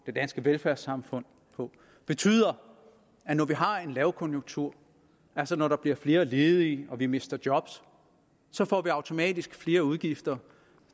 det danske velfærdssamfund på betyder at når vi har en lavkonjunktur altså når der bliver flere ledige og vi mister job så får vi automatisk flere udgifter